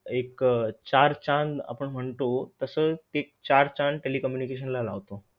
एक चार चांद आपण म्हणतो तस चार चांद telecommunication ला लावतो.